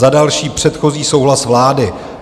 Za další předchozí souhlas vlády.